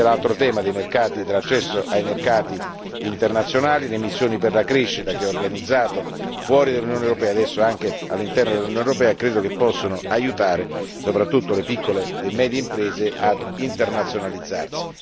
Vi è poi il tema dei mercati e dell'accesso ai mercati internazionali, le missioni per la crescita, dapprima organizzate fuori dall'Unione europea, ora anche all'interno dell'Unione europea, che credo possano aiutare soprattutto le piccole e medie imprese a internazionalizzarsi.